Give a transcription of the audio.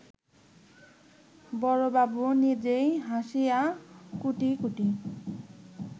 বড়বাবু নিজেই হাসিয়া কুটি কুটি